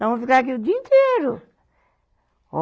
Nós vamos ficar aqui o dia inteiro. Ó